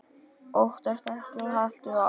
Óttastu ekki og haltu áfram!